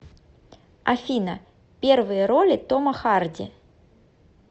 афина первые роли тома харди